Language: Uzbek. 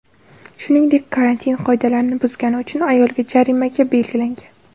Shuningdek, karantin qoidalarini buzgani uchun ayolga jarimaga belgilangan.